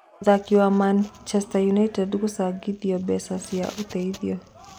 Mũthaki wa Maũndũ United gũcangithia mbeca cia ũteithio.